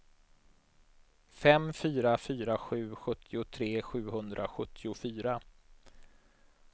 fem fyra fyra sju sjuttiotre sjuhundrasjuttiofyra